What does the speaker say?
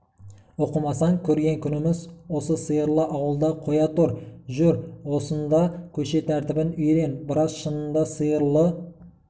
оқымасаң көрген күніміз осы сиырлы ауылды қоя тұр жүр осында көше тәртібін үйрен біраз шынында сиырлы